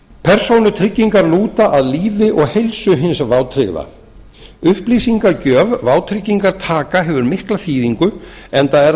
persónutryggingar lúta að lífi og heilsu hins vátryggða upplýsingagjöf vátryggingartaka hefur mikla þýðingu enda er